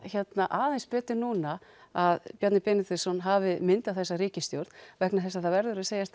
aðeins betur núna að Bjarni Benediktsson hafi myndað þessa ríkisstjórn vegna þess að það verður að segjast